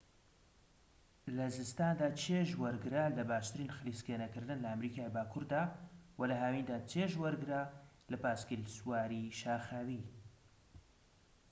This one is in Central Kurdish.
لە زستاندا چێژ وەرگرە لە باشترین خلیسکێنەکردن لە ئەمریکای باكووردا وە لە هاویندا چێژ وەرگرە لە پاسکیل سواریی شاخاوی